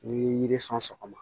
N'i ye yiri sɔn sɔgɔma